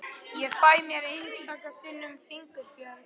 Ég fæ mér einstaka sinnum fingurbjörg.